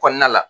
Kɔnɔna la